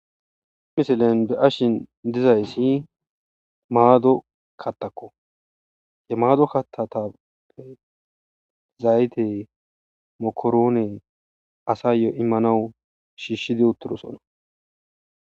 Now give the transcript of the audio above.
imisilen be ashin dizayssi maado kattakko he maado kattatappe zayte mokoroone asayyo immanawu shiishshidi uttidosona